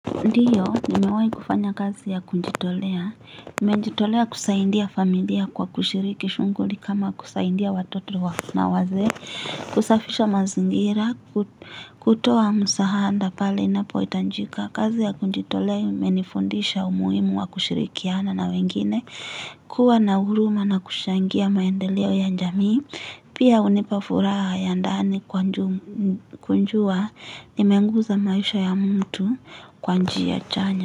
Ndiyo, nimewahi kufanya kazi ya kujitolea. Nimejitolea kusaidia familia kwa kushiriki shughuli kama kusaidia watoto na wazee. Kusafisha mazingira, kutoa msaada pale inapohitajika. Kazi ya kujitolea imenifundisha umuhimu wa kushirikiana na wengine. Kuwa na huruma na kuchangia maendeleo ya jamii. Pia hunipa furaha ya ndani kujua nimeguza maisha ya mtu kwa njia chanya.